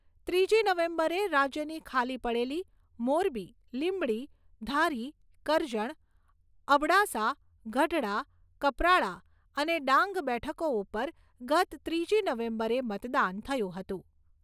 ત્રીજી નવેમ્બરે રાજ્યની ખાલી પડેલી, મોરબી, લીંબડી, ધારી, કરજણ, અબડાસા, ગઢડા, કપરાડા અને ડાંગ બેઠકો ઉપર ગત ત્રીજી નવેમ્બરે મતદાન થયું હતું.